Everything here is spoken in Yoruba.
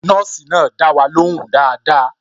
Nọ́ọ̀sì náà dá wa ló hùn dáadáa